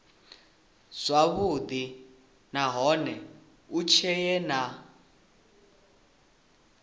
zwavhudi nahone hu tshee na